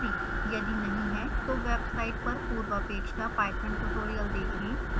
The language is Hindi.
यदि नहीं है तो वेबसाइट पर पूर्वापक्षा python ट्यूटोरियल देखें